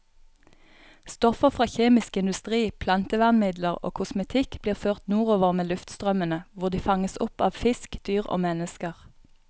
Stoffer fra kjemisk industri, plantevernmidler og kosmetikk blir ført nordover med luftstrømmene, hvor de fanges opp av fisk, dyr og mennesker.